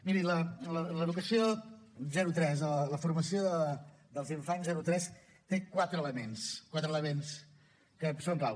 miri l’educació zero tres la formació dels infants zero tres té quatre elements quatre elements que són clau